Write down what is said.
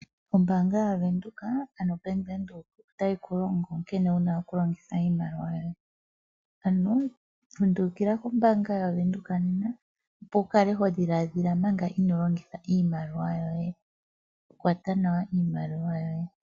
Ombaanga ya venduka ano Bank Windhoek otayi ku longo nkene wu na okulongitha iimaliwa yoye, ano lundulukila kombaanga ya venduka nena opo wu kale ho dhiladhila manga ino longitha iimaliwa yoye. Kwata nawa iimaliwa yoye.